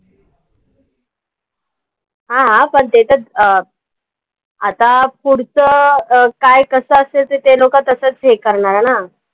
हां पण ते त अं आता पुढचं अं काय, कसं असेल ते लोकं तसंच हे करणार ना.